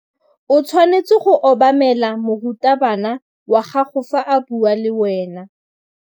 O tshwanetse go obamela morutabana wa gago fa a bua le wena.